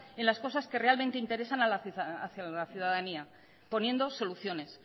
en las cosas que realmente interesan a la ciudadanía poniendo soluciones